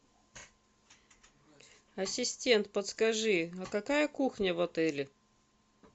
ассистент подскажи а какая кухня в отеле